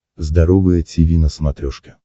здоровое тиви на смотрешке